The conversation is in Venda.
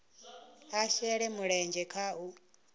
a shele mulenzhe kha u